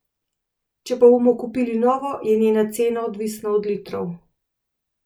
Če pa bomo kupili novo, je njena cena odvisna od litrov.